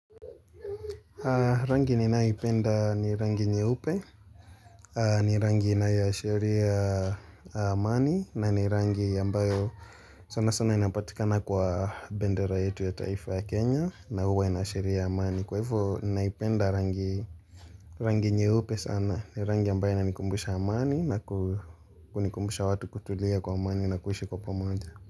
Rangi ni nanayeipenda ni rangi nyeupe ni rangi inayoshiria amani na ni rangi ambayo sana sana inapatikana kwa bendera yetu ya taifa ya Kenya na huwa inashiria amani kwa hivyo naipenda rangi hii rangi nye lupe sana ni rangi ambayo na nikumbusha amani na kunikumbusha watu kutulia kwa amani na kuhishi kwa pomoja.